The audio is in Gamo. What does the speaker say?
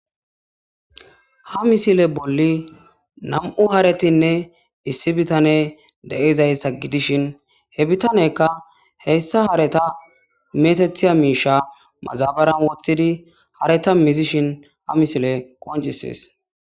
Ha misile bolli nam'u haretinne issi bitane deizayssa gidishin he bitanekka heyssa hareta metethiya miisha mazabaran wottidi hareta mizishin ha misile qoncises.